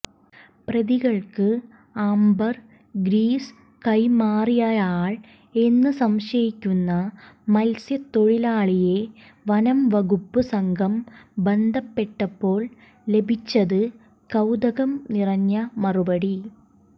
പ്രതികൾക്ക് ambergris കൈമാറിയയാൾ എന്നു സംശയിക്കുന്ന മത്സ്യത്തൊഴിലാളിയെ വനംവകുപ്പ് സംഘം ബന്ധപ്പെട്ടപ്പോൾ ലഭിച്ചത് കൌതുകം നിറഞ്ഞ മറുപടി